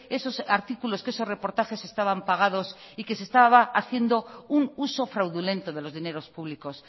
esos artículos que esos reportajes estaban pagados y que se estaba haciendo un uso fraudulento de los dineros públicos